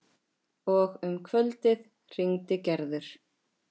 Og um kvöldið hringdi Gerður.